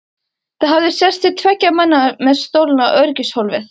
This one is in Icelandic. Það hafði sést til tveggja manna með stolna öryggishólfið!